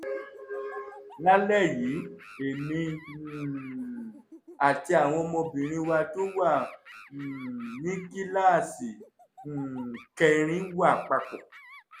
lálẹ́ yìí èmi um àti àwọn ọmọbìnrin wa tó wà um ní kíláàsì um kẹrin wà papọ̀